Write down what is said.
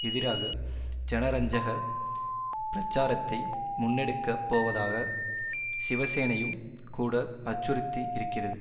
எதிராக ஜனரஞ்சக பிரச்சாரத்தை முன்னெடுக்கப் போவதாக சிவசேனையும் கூட அச்சுறுத்தி இருக்கிறது